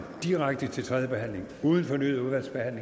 direkte til tredje behandling uden fornyet udvalgsbehandling